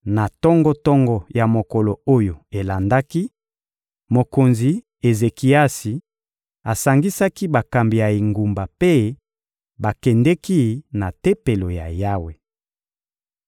Na tongo-tongo ya mokolo oyo elandaki, mokonzi Ezekiasi asangisaki bakambi ya engumba mpe bakendeki na Tempelo ya Yawe.